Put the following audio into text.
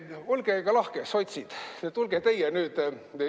Olge aga lahked, sotsid, tulge teie nüüd!